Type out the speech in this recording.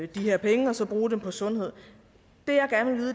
de her penge og så bruge dem på sundhed